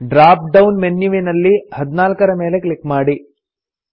drop down ಮೆನ್ಯುವಿನಲ್ಲಿ 14 ರ ಮೇಲೆ ಕ್ಲಿಕ್ ಮಾಡಿ